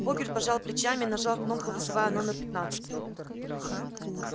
богерт пожал плечами и нажал кнопку вызывая номер пятнадцатый